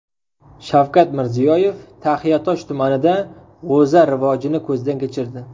Shavkat Mirziyoyev Taxiatosh tumanida g‘o‘za rivojini ko‘zdan kechirdi .